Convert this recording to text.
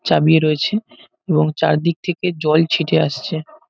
চাবিয়ে রয়েছে এবং চারদিক থেকে জল ছিটে আসছে ।